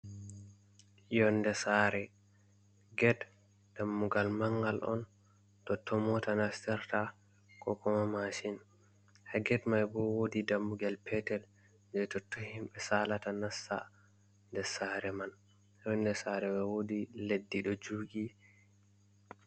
Yonnde saare, get dammugal manngal on, totton moota nastirta koo masin, haa get may boo woodi dammugal peetel jey totton himɓe saalata nasta nder saare man, yonnde saare bo woodi leddi ɗo juugi.